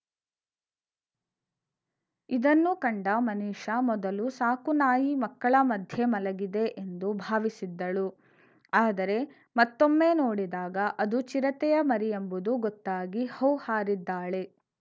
ಇದನ್ನು ಕಂಡ ಮನಿಷಾ ಮೊದಲು ಸಾಕುನಾಯಿ ಮಕ್ಕಳ ಮಧ್ಯೆ ಮಲಗಿದೆ ಎಂದು ಭಾವಿಸಿದ್ದಳು ಆದರೆ ಮತ್ತೊಮ್ಮೆ ನೋಡಿದಾಗ ಅದು ಚಿರತೆಯ ಮರಿ ಎಂಬುದು ಗೊತ್ತಾಗಿ ಹೌಹಾರಿದ್ದಾಳೆ